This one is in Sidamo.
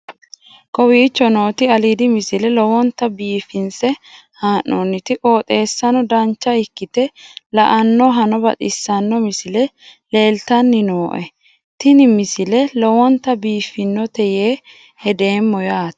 kowicho nooti aliidi misile lowonta biifinse haa'noonniti qooxeessano dancha ikkite la'annohano baxissanno misile leeltanni nooe ini misile lowonta biifffinnote yee hedeemmo yaate